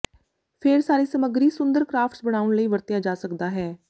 ਫ਼ੇਰ ਸਾਰੇ ਸਮੱਗਰੀ ਸੁੰਦਰ ਕਰਾਫਟਸ ਬਣਾਉਣ ਲਈ ਵਰਤਿਆ ਜਾ ਸਕਦਾ ਹੈ